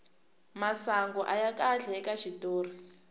masangu aya kahle ka xitori